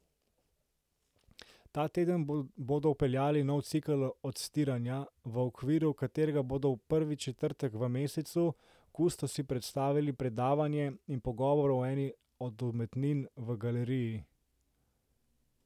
Ta teden bodo vpeljali nov cikel odstiranja, v okviru katerega bodo prvi četrtek v mesecu kustosi predstavili predavanje in pogovor o eni od umetnin v galeriji.